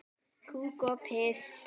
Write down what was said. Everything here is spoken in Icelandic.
Kúk og piss.